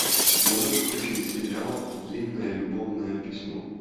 можешь включить сериал длинное любовное письмо